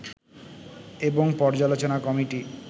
এবং পর্যালোচনা কমিটি